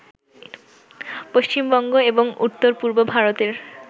পশ্চিমবঙ্গ এবং উত্তরপূর্ব ভারতের